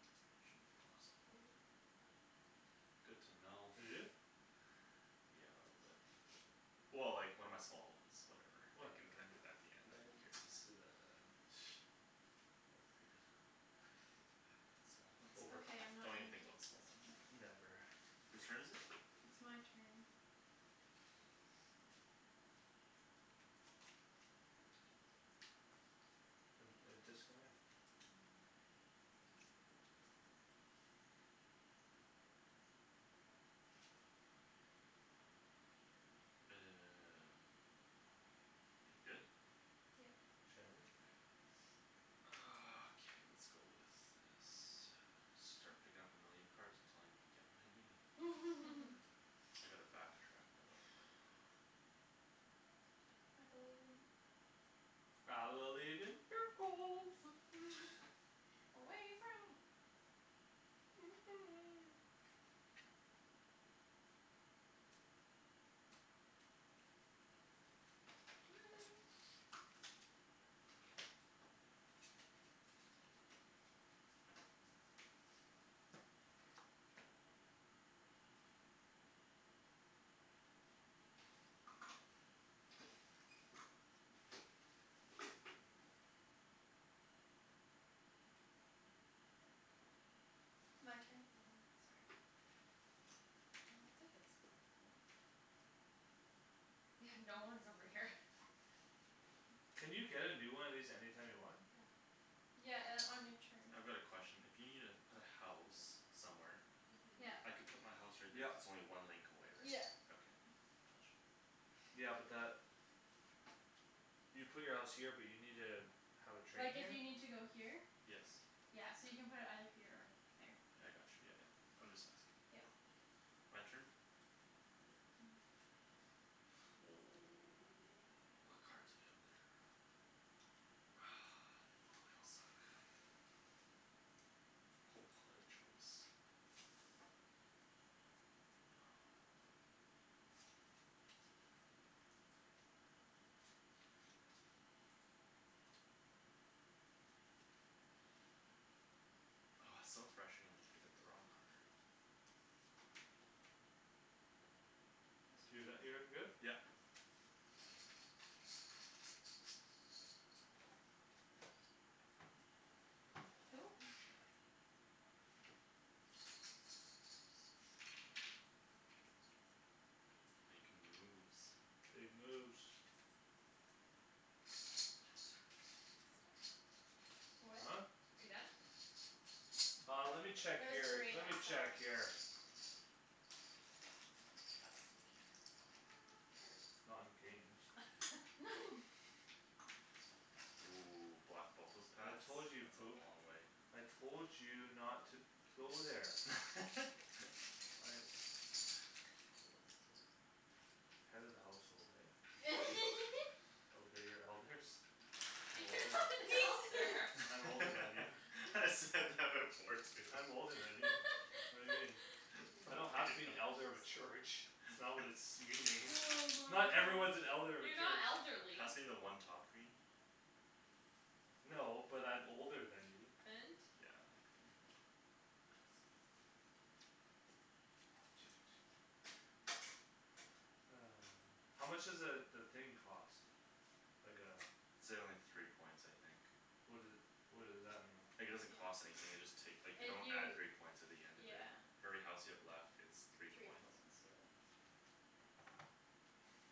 destination, awesome. Oh. Good to know. You do? Yeah, a little bit. Well, like, one of my small ones. Whatever, I can Whatever. connected it back again. I Who can cares? do that at the end. Overrated. Small one. Over. Okay, I'm not Don't even gonna think keep about small this ones. one. Never. Who's turn is it? It's my turn. And a disconnect. No, I'm okay. I don't wanna go through that one. You good? Yep. Shandy. Ah, okay, lets go with this. Should start picking up a million cards until I'm get what I needed. I need to back track a little bit. I believe in you. I believe in miracles. Away from My turn. Mhm, sorry. Well, that's a good spot for them. Yeah, no one's over here. Can you get a new one of these anytime you want? Yeah. Yeah, uh, on your turn. I've got a question. If you needa put a house somewhere Mhm. Yeah. I can put my house right there Yep. if its only one link away, right? Yeah. Okay, got you. Yeah, but that You put your house here but you need a Have a train Like if here? you need to go here Yes. Yeah, so you can put it either here or here. Yeah I got you, yeah, yeah. I'm just asking. Yep. My turn? Yep. What cards we have there? Ah, they bo- they all suck. Ho, what a choice! No. Oh, it's so frustrating when you pick up the wrong card. Whose Do turn that. You're is good? it? Yep. Who Snap. Makin' moves. Big moves. Huh? What? Are you done? Uh, let me check It was your, three, let I me check saw. your He You doesn't trust can me. pass to me Not in Hurts. games. Ooh, block both those I paths. told you you'd That's a poop. long way. I told you not to to go there I Head of the household, eh Obey your elders. I'm You're older. not an elder. I'm older than you. I said that before too. I'm older than you. What do you mean? I don't have to be an elder of a church. It's not what it's meaning. Oh my Not everyone's gosh. an elder of a You're not church. elderly. Pass me the one top green. No, but I'm older than you. And? Yeah, a green. Thanks. One, two, two, seven. Ah. How much does a the thing cost? Like a It's a only three points I think. What doe- what does that mean? Like it doesn't cost anything, you just take. Like you It don't you add three points at the end of it. yeah For every house you have left it's three Three points. points, yeah.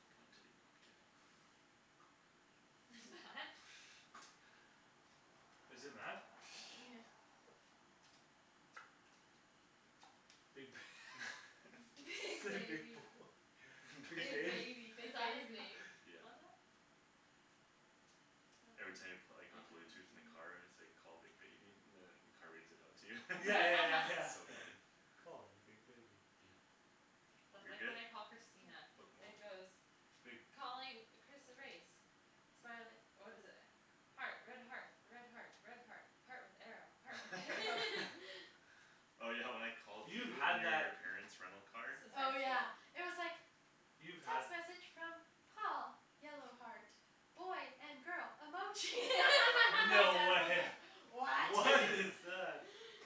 What point did he not get? Is it met? Yeah. Big Big Big big baby, boy. Big big Big bab- baby, big Is that his baby. name? Yeah. On that? Every time you pla- like on blue tooth in the car, it's like call big baby, and then the car reads it out to you. Yeah, yeah, yeah, It's so yeah funny. Calling big baby Yeah. That's You're like good? when I call Christina, it Locomotive goes Big Calling Chris erase Smile it, what is it? Heart, red heart, red heart, red heart Heart with arrow, heart with arrow Oh, yeah, when I called You've you and had you and that your parents rental car Since Oh, high school yeah, it was like You've had Text message from Paul yellow heart boy and girl emoji my dad No. was like What? What is that?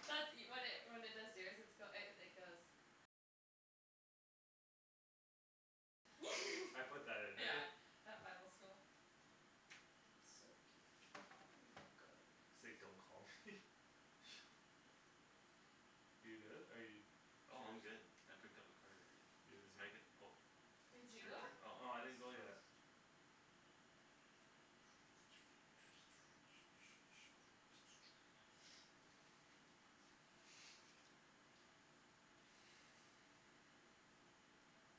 That's e- when it when it does yours it's goe- it goes I put that in there Yeah, at Bible school. So cute, um, guy. Say don't call me You good, are you? It's Oh, yours. I'm good. I picked up a card already. It's Megan. Oh. Did It's you your go? turn? Oh. No, It's I Thomas' didn't go turn. yet.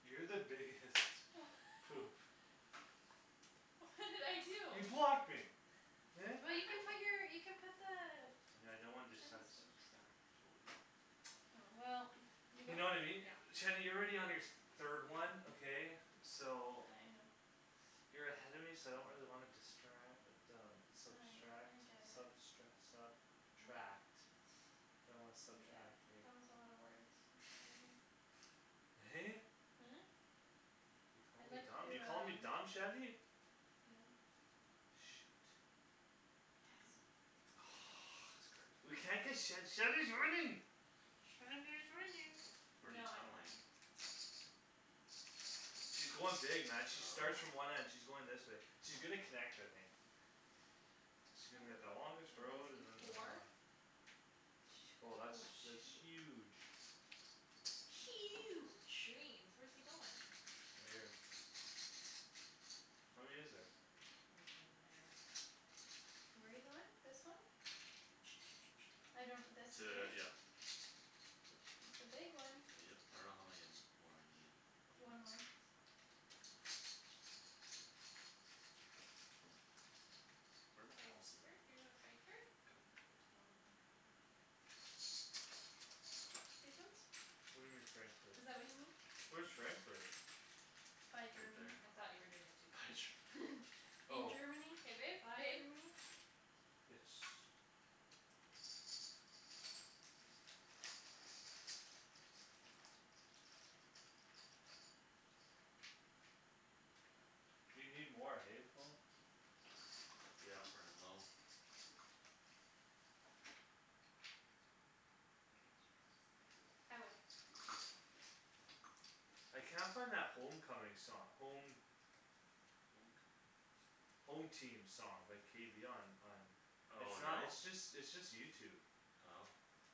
You're the biggest Wha- poop. What did I You do? blocked me. Eh? Well, you can put your you put the And I don't want Train this sub- station subtract three Oh, well, you You know know what I mean? Yeah. Shady you're already on your th- third one, okay. I know. So You're ahead of me so I don't really wanna distra- uh but um I subtract I get it. substre- sub tract I don't Yeah, wanna that was subtract, right. a lotta words. In front of you Hey. Hmm? You're calling I'd me like dumb, you're to calling me do, dumb, um Shandy? No. Shoot. Good. Yes. This card. We can't get Shand- Shandy's winning Shandy is winning. Where No, you I don't win. tunneling? She's going dig, man, she starts from Oh. one end, she's going this way. She's gonna connect, I think. She's How gonna get the longest many road You and have then. ah four? Oh, Shoot, that's that's oh, huge. shoot. Huge. Greens. Where's he goin'? Right here. How many is there? Oh, he's going there. Where you goin'? This one? I don't this here? T- yeah. It's the big one. Yep. I don't know how many more I need. One more? One more. Where my houses Frankfurt? at? You going to Oh, Frankfurt. can I get a house baby? Oh, there. Okay. These ones? What do you mean, Frankfurt? Is that what you mean? Where's Frankfurt? By Right Germany. there. I thought you were doing the two By pink. Ger- In Oh. Germany, K, babe, by babe. Germany. Yes. You need more, hey, Paul. Yeah, running low. K, Shands. I win. I can't find that home coming song, home Home coming. Home team song by K B on on It's Oh, not no? it's just it's just YouTube Oh.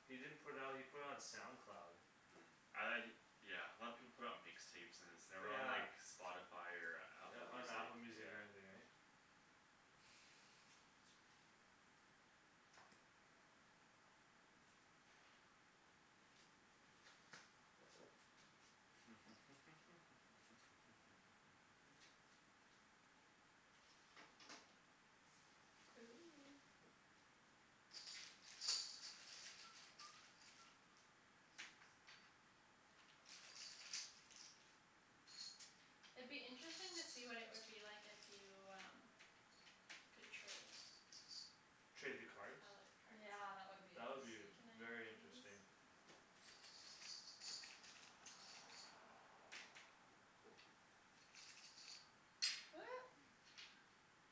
He didn't put out he put it on SoundCloud. Mm, I Yeah, a lot of people put it on mix tapes and then it's never on Yeah. like Spotify or Yeah, Apple on Music, Apple yeah. Music or anything, right? Ooh. It'd be interesting to see what it would be like if you, um Could trade Trade the Color cards? Yeah, that cards. would be That would be v- interesting. Can I very give you interesting. these?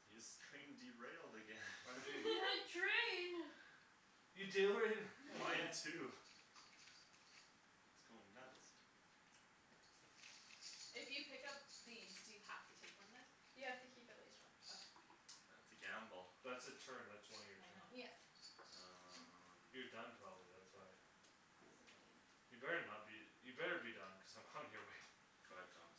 Your scrain derailed again. I'm You doing. had train. You derai- Mine again. too. It's goin' nuts. If you pick up these do you have to take one then? You have to keep at least one. Okay. That's a gamble. That's a turn, that's one of your I turn. know. Yep. You're Um. done probably, that's why. Possibly. You better not be you better be done cuz I'm coming your way. Go ahead, Thomas.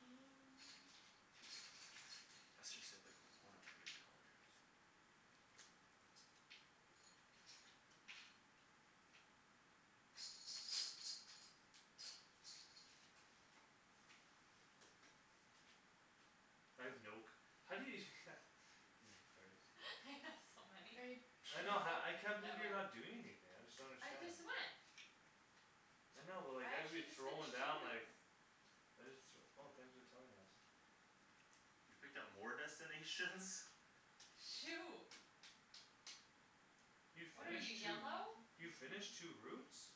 And Let's just save like one of every color. I have no c- how do you No cards. I have so Are you many. I Did you know ha- go? I can't believe you're not doing anything. I just don't I understand. just went. I know but like I I'd be actually just throwing finished two down like routes. I just th- Oh thanks for telling us. You picked up more destinations? Shoot. You What are you, finished two? yellow? You finished two routes?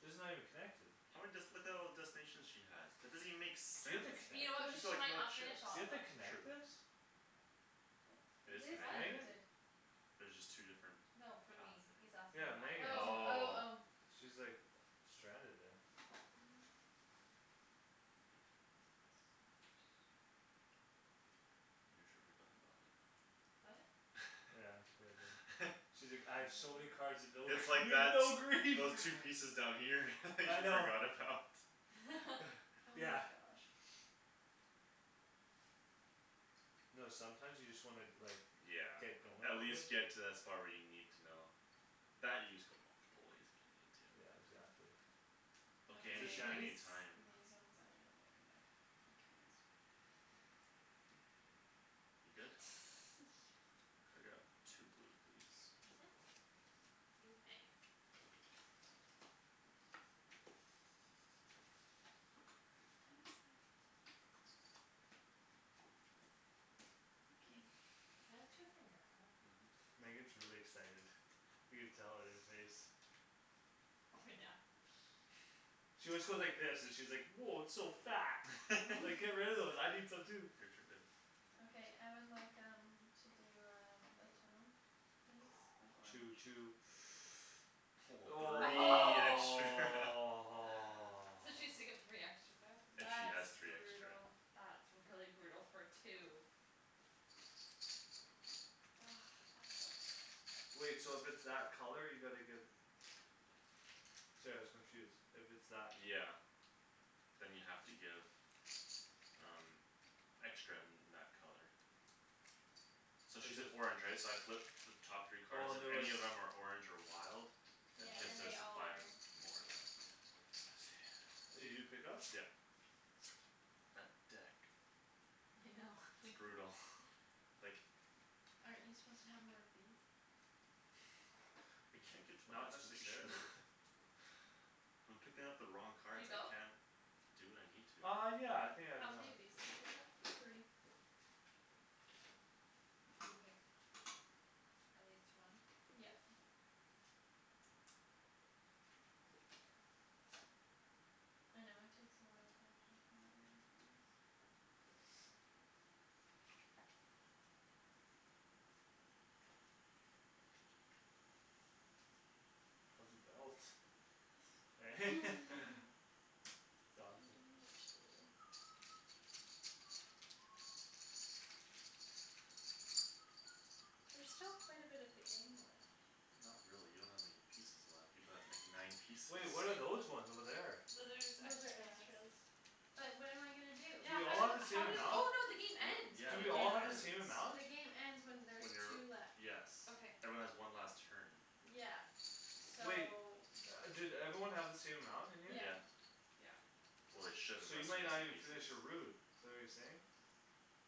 These are not even connected. How many dest- Look at all the destinations she has. That doesn't even make Do you have sense. to You connect know what, it? She's got she like might no not chips. finished Do all you of have them. to True. connect this? It It is is What? connected. Megan? connected. There's just two different No, for Paths me. He's there. asking Yeah, Megan. Oh, oh, Oh. oh. She's like uh stranded there. Mm. That's not gonna be good. You sure forgot about it. What? Yeah, that's what I did. She's like, "I have so many cards and no." It's like You have that no those green. those pieces down here you I know. forgot about. Oh Yeah. my gosh. No, sometimes you just wanna like Yeah, Get going at a little. least get to that spot where you need to know. That you just go multiple ways if you needed to. Yeah, exactly. Okay, Okay, Is it these any any Shany's? these one's time. I'm gonna get rid of. I'll keep these. You good? Yeah. Could I grab two blue please. Mhm. You may. What was that? Okay. Can I have two from your pile? Mhm. Megan's really excited. You can tell on your face. Oh, yeah. She always goes like this, she's like, "Woah, it's so fat." It's like, "Get rid of those. I need some too." Your turn babe. Okay, I would like, um To do um a tunnel please Two, with orange. two. Woah, three extra. So she has to give three extra back. If she That's has three extra. brutal. That's really brutal for two. Ah, that sucks. Wait, so if it's that color you gotta give Sorry I was confused, if it's that Yeah. Then you have to give Um Extra in that color. So If she's an there's orange right? So I flip The top three Oh, card, and there if was any of them are orange or wild Then Yeah, she I has and see. to they all are. supply them more of that, yeah. I see. Did you pick up? Yeah. That deck. I know. It's brutal, like Aren't you suppose to have more of these? I No, can't get to my not destination. necessarily. I'm picking up the wrong Did you cards. I go? can't do what I need to. Uh, yeah, I think I've How many gone. of these do you pick up? Three. And you pick at least one? Yep. I know it takes a while to actually figure out where everything is. How's the belt? Eh? It's I awesome. don't know what to do. There's still quite a bit of the game left. Not really. You don't have many pieces left. You've got like nine pieces. Wait, what are those ones over there? Those are just Those are extras. extras. But what am I gonna do? Do Yeah, we how all have do- the same how does amount? Oh, no, the game What? ends Yeah, Do the we all game have the ends. same amount? The game ends when When there's two you're, left. yes Okay. Everyone has one last turn. Yeah, so Wait. Do everyone have the same amount in here? Yeah. Yeah. Yeah Well, they should So you unless we're might not missing even finish pieces. your route. Is that what you're saying?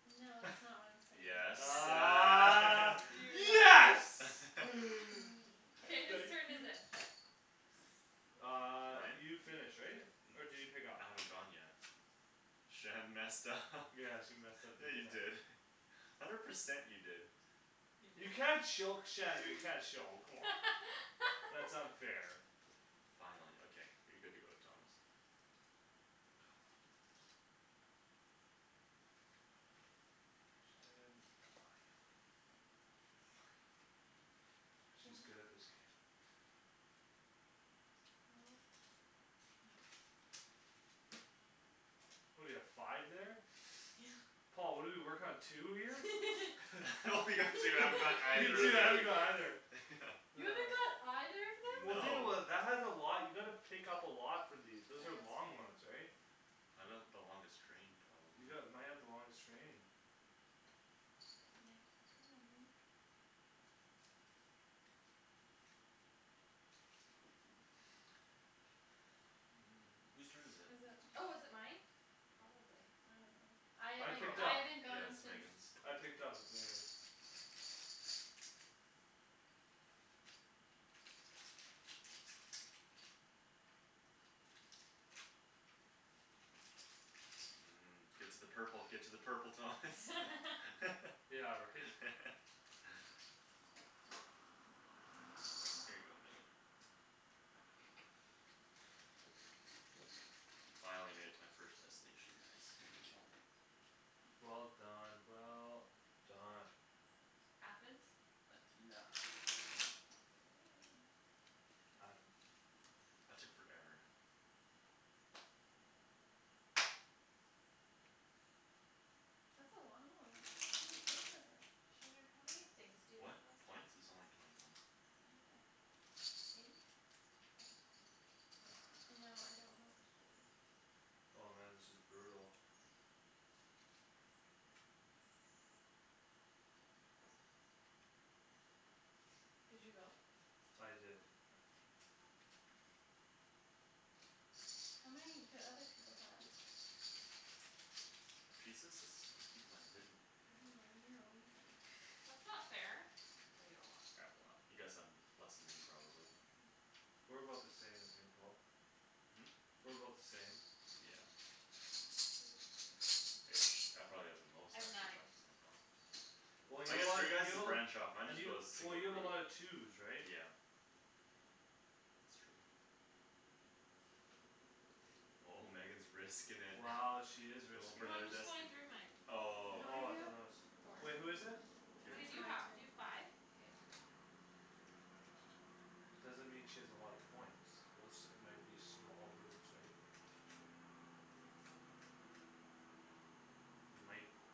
No, that's not what I'm saying. Yes, Ah ah. yes Mm, K, whose Thank k turn is you. it? Uh, Mine? you finished, right? Or did you pick up? I haven't gone yet. Shan messed up Yeah, she messed up Yeah, big you time. did hundred percent you did. You can't choke Shandy, you can't show come on, that's unfair. Finally, okay, you're good to go, Thomas. Oh, poopers. Shandryn, why you're winning? She's good at this game. What? Well What do you have five there? Yeah. Paul, what do you work on two here? I only got two. I haven't got You either of too I that. don't know either Yeah. You haven't got either of them? Well, think No. about it, that has a lot. You gotta pick up a lot for these. Those Yeah, are that's long very ones, right? I got the longest train You probably. got might have the longest train. Yeah, you probably Who's turn is it? Is it? Oh, is it mine? Probably. I don't know. I I haven't picked Probably. I up. haven't Yeah, gone it's since. Megan's. I picked up but then again Mm. Get to the purple, get to the purple, Thomas. Yeah, right? Here you go, Megan. Finally made it to my first destination guys. Killed it. Well done, well done. Athens. Athena. K I babe. That took forever. That's a long one. How many points is that? Shandryn, how many things to you What? have up? A points? Is only twenty one. Oh, eight? Oh, okay. I know, I don't know what to do. Oh, man, this is brutal. Did you go? I did. Okay. How many do other people have? Pieces? It's I keep mine hidden. Oh, you're a weasel. That's not fair, oh, you have a lot. I have a lot. You guys have less then me probably. Okay. We're about the same, I think, Paul. Hmm? We're about the same. Yeah. Ish I probably have the most I've actually nine. left somehow. Well, you I guess have your guy's you have a lot branch off. Mine and just you goes Well, single you have a route. lot of twos right? Yeah. It's true. Oh, Megan's risking it. Wow, she is Goin' risking for No, it. another I'm just going destin- through mine. How Oh, okay. many Oh, you I thought that was have? Four. Wait, who Oh, is it? How Your many do it's turn. my you have? Do you have turn. five? Yeah. Doesn't mean she has a lot of points. Those might be small routes right? True. They might be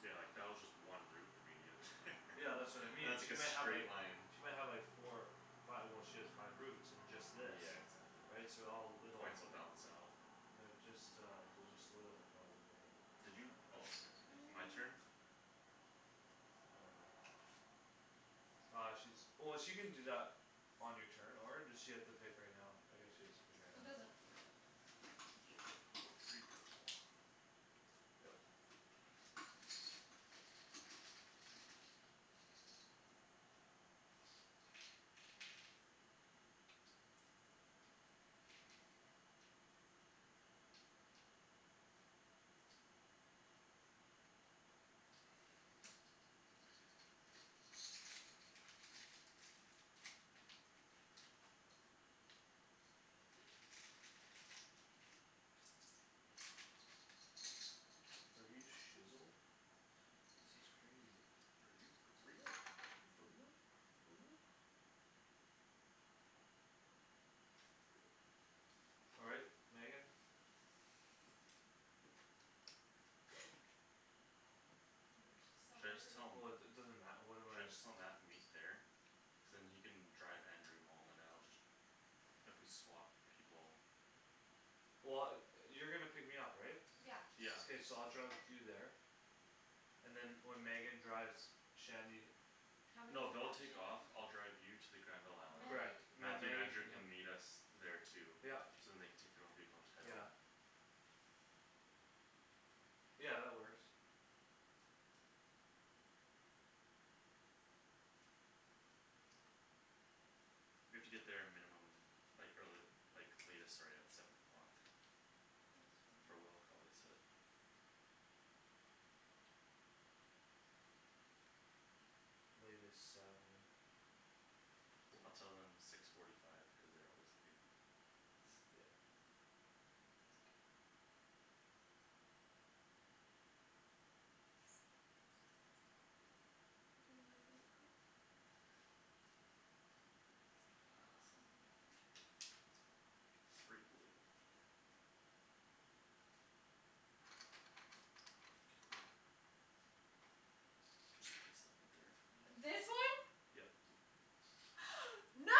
Yeah, like that was just one route for me to get there Yeah, that's what I And mean, that's she like might a have like straight line. She might have like four five, well, she has five routes and just this Yeah, exactly. Right, so all little Points will balance out. They're just, uh They're just little probably, right? Did you? Oh, you're picking. I'm My picking. turn? I don't know. Uh, she's Oh, she can do that On your turn or does she have to pick right now? I guess she has to pick right now. It doesn't really matter all that I'll much. go three purple. Yep. Oh, my god. Are you shizzel? This is crazy. Are you for real? Are you for All right, Megan. Should I just tell 'em? Woah, it it doesn't matter. What am Should I I? just tell Mat to meet there? Cuz then he can drive Andrew home and then I'll just If we swap people. Well, yo- you're gonna pick me up, right? Yeah. Yeah. K, so I'll drive with you there and then when Megan drives Shandy How many No, do you they'll have take off. Shandryn? I'll drive you to the Granville How island. I many? have Correct. eight. Then Mathew and Megan Andrew can come. can meet us Okay. there too. Yup. So then they can take their own vehicle and just head home. Yeah. Yeah, that works. We have to get there a minimum Like early like latest sorry at Seven o'clock. That's For fine. will call, they said. Latest seven. I'll tell them six forty five because they're always late. Yeah. That's a good one. Do you wanna go babe quick? Um. Three blue. Can you Just place them right there for me This one? Yep. No.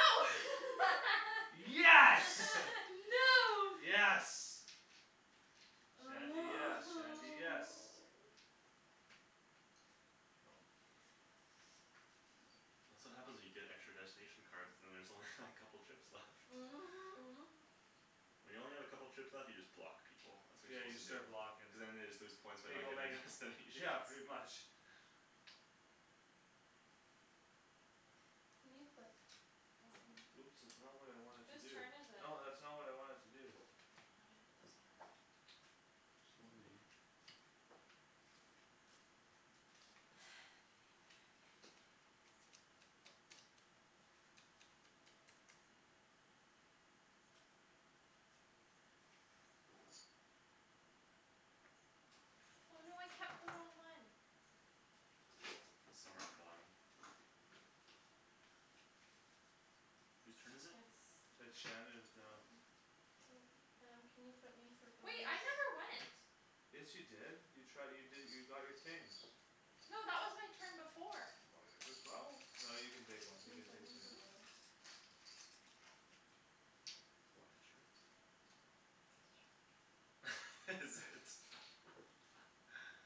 Yes. No. Yes. Shandy, yes, Shandy, yes. Oh. That's what happens when you get extra destination cards. Then there's only like couple trips left. When you only have a couple trips left you just block people. That's what Yeah, you're you just suppose to do. start blockin'. Cuz then they just lose points by Here you not go, getting Megan. destinations. Yeah, pretty much. Can you flip Oh. some? Oops, that's not what I wanted to Whose do. turn is it? No, that's not what I wanted to do. Oh, now I know what those are Sorry. Somewhere on the bottom? Whose turn is it? It's It's Shandryn's now. Mine. K, um, can you put me for Wait, I never went. Yes, you did you try you did you got your things No, that was my turn before. Buy it yourself. No, you can take Can you one, flip you can me take two for now. blues? One extra? Is it?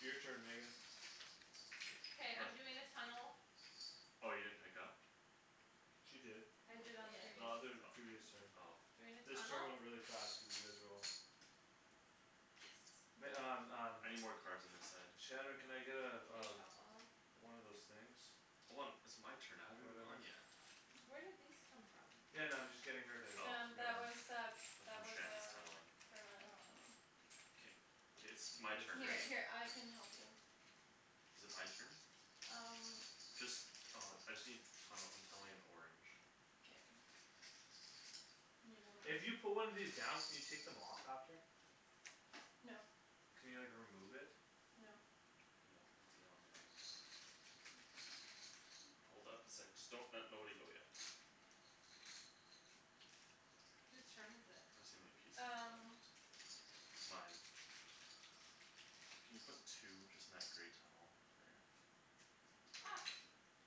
Your turn, Megan. K, I'm doing a tunnel. Oh, you didn't pick up? She did. I did on the The previous other previous turn. O- oh Doing a This turn tunnel went really fast cuz you guys were all Yes. Meg- um um I need more cards on this side. Shandryn, can I get uh Can you uh shuffle them? One of those things Hold on. It's my turn. I haven't even gone Whatever. yet. Where did these come from? Yeah, no, I'm just getting her to Oh. get one That's from Shand's tunneling. Oh. K, k, it's my turn, right? Is it my turn? Just uh I just need tunnel. I'm tunneling in orange. K. If you put one of these down can you take them off after? No. Can you like remove it? No. No, once they're on they're on. Hold up a sec. Just don't nobody go yet. Whose turn is it? Tryin' to see how many pieces I have Um. left. Mine. Can you put two just in that grey tunnel up there? Ops.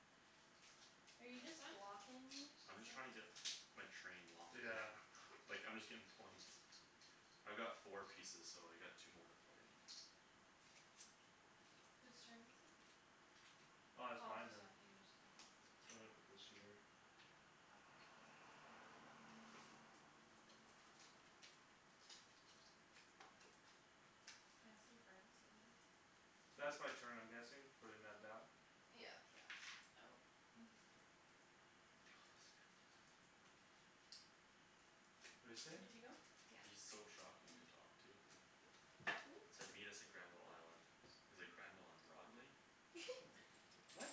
Are you just This one? blocking me? I'm just trying to get my train longer Yeah. like I'm just getting points. I've got four pieces, so I got two more to play. K. Whose turn is it? Uh, it's Paul mine just then. went, you just, okay Sorry, I put this here. Okay. Can I have some cards over here? That's my turn I'm guessing. Putting that down? Yeah. Yeah Oh What'd you say? He's Yeah. so shocking to talk to. Said meet us at Granville island. He's like, "Granville and Broadway?" What?